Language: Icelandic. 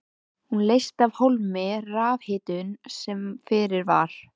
Hún leysti af hólmi rafhitun sem fyrir var.